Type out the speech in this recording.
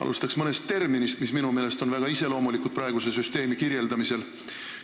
Alustaks mõnest terminist, mis minu meelest on väga iseloomulikud praeguse süsteemi kirjeldamisel.